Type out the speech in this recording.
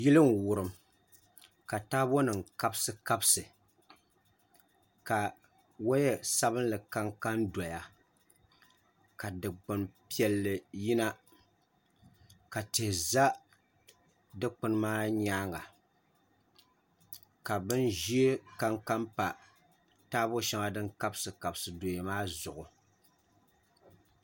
Yili n wurim ka taabo nim kabisi kabisi ka woya sabinli kanka n doya ka dikpuni piɛlli yina ka tihi ʒɛ dikpuni maa nyaanga ka bin ʒiɛ kanka pa taabo shɛŋa din kabisi kabisi doya maa zuɣu